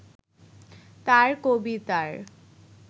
তাঁর কবিতার